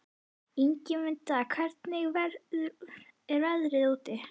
Ingimunda, hvernig er veðrið úti?